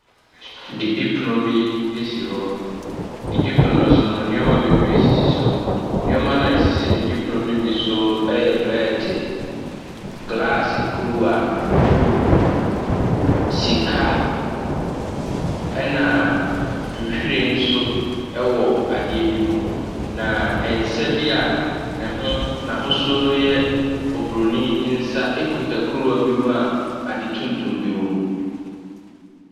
Didipono bi asi hɔ. didipono ne so no, nneɛma bebree sisi so. Nneɛma a asisi didipono ne ɛbi so yɛ prɛɛte, graase kuruwa, buukuu, sika, ɛna nhyiren nso ɛwɔ adeɛ bi mu. Na nsa bi a ne ho n’ahosuo no ɛyɛ obronin nsa akita kuruwa bi mu a ade tuntum bi wɔ mu.